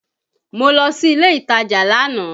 Mo lọ sí ilé ìtajà lánàá